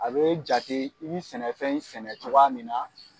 A bɛ jate i bi sɛnɛfɛn sɛnɛ cogoya min na.